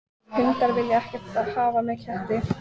Hundar vilja ekkert hafa með ketti að gera.